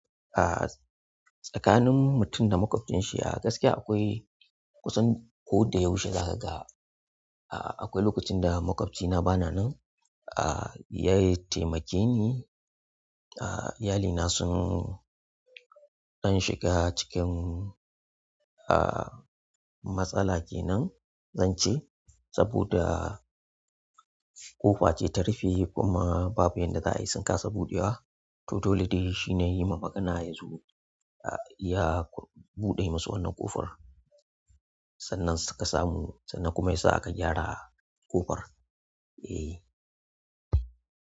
Tsakanin mutum da maƙwabcin shi ah gaskiya akwai kusan ko da yaushe za ka ga. Akwai lokacin da maƙwabcina bana nan, ya taimake ni. Iyalina sun ɗan shiga cikin matsala kenan zan ce saboda ƙofa ce ta rufe kuma babu yanda za a yi sun kasa buɗewa. To dole dai shi na yi ma magana yazo ya buɗe masu wannan ƙofar sannan suka saku, sannan kuma ya sa aka gyara ƙofar. Eh.